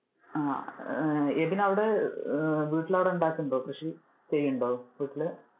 ആഹ് എബിൻ അവിടെ അഹ് വീട്ടിൽ അവിടെ ഉണ്ടാകുന്നുണ്ടോ കൃഷി ചെയ്യുന്നുണ്ടോ വീട്ടിൽ?